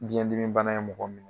Biɲɛdimibana ye mɔgɔ minɛ